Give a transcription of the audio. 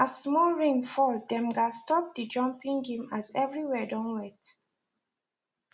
as small rain fall dem gats stop the jumping game as every where don wet